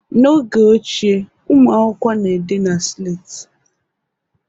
N'oge ochie, ụmụ akwụkwọ na-ede na slate